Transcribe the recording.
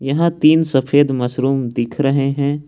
यहां तीन सफेद मशरूम दिख रहे हैं।